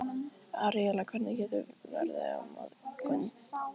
Aríela, hvernig verður veðrið á morgun?